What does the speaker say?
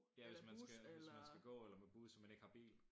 Ja hvis man skal hvis man skal gå eller med bus og man ikke har bil